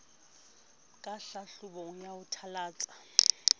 ka hlahlobong o a thalatsa